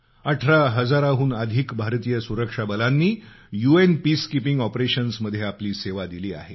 अठरा हजाराहून अधिक भारतीय सुरक्षा बलांनी यू एन पीसकीपिंग ऑपरेशन्समध्ये आपली सेवा दिली आहे